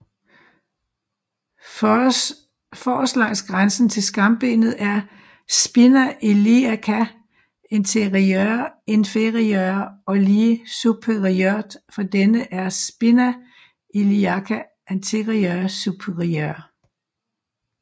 Forrest langs grænsen til skambenet er spina iliaca anterior inferior og lige superiort for denne er spina iliaca anterior superior